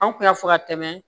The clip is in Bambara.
An kun y'a fɔ ka tɛmɛ